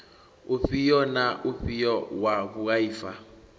ufhio na ufhio wa vhuaifa